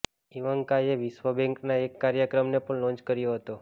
ઈવાન્કાએ વિશ્વ બેંકના એક કાર્યક્રમને પણ લોન્ચ કર્યો હતો